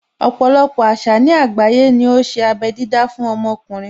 Ọpọ̀lọpọ̀ àṣà ní àgbáyé ní ó ṣe abé dídá fún ọmọkùnrin.